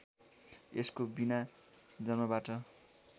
यसको बिना जन्मबाट